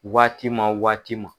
Waati ma waati ma